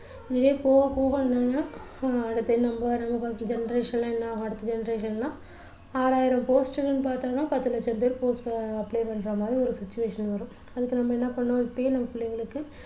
நிறைய போக போக என்னன்னா அடுத்து நம்ம generation என்ன ஆகும் அடுத்த genaration எல்லாம் ஆறாயிரம் post இருக்குன்னு பார்த்திங்கன்னா பத்து லட்சம் பேர் post அ apply பண்ற மாதிரி ஒரு situation வரும் அதுக்கு நம்ம என்ன பண்ணணும் இப்போவே நம்ம புள்ளைங்களுக்கு